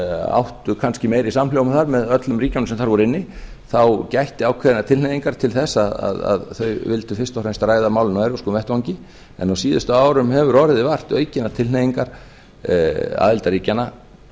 áttu kannski meiri samhljóm þar með öllum ríkjunum sem þar voru inni þá gætti ákveðinnar tilhneigingar til þess að þau vildu fyrst og fremst ræða málin á evrópskum vettvangi en á síðustu árum hefur orðið vart aukinna tilhneiginga aðildarríkjanna